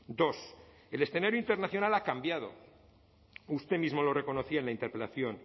dos el escenario internacional ha cambiado usted mismo lo reconocía en la interpelación